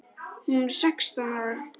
Hún er sextán ára.